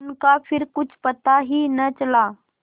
उनका फिर कुछ पता ही न चला